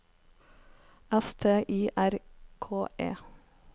S T Y R K E